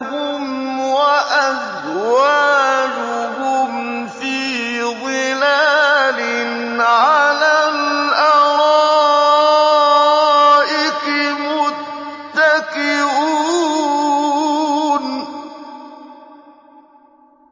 هُمْ وَأَزْوَاجُهُمْ فِي ظِلَالٍ عَلَى الْأَرَائِكِ مُتَّكِئُونَ